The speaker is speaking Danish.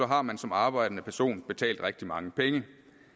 har man som arbejdende person betalt rigtig mange penge